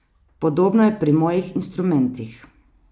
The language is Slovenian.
Podobno je pri mojih instrumentih.